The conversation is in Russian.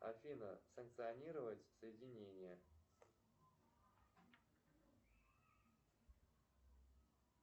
афина санкционировать соединение